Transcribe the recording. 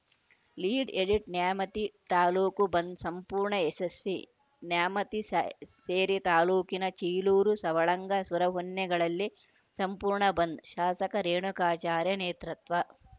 lead edit Nyamati ತಾಲೂಕು ಬಂದ್‌ ಸಂಪೂರ್ಣ ಯಶಸ್ವಿ ನ್ಯಾಮತಿ ಸ್ಯಾ ಸೇರಿ ತಾಲೂಕಿನ ಚೀಲೂರು ಸವಳಂಗ ಸುರಹೊನ್ನೆಗಳಲ್ಲಿ ಸಂಪೂರ್ಣ ಬಂದ್‌ ಶಾಸಕ ರೇಣುಕಾಚಾರ್ಯ ನೇತೃತ್ವ